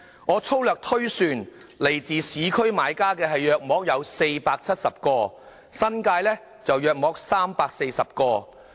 我粗略推算，來自市區的買家大約470個，新界大約340個。